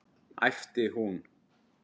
æpti hún.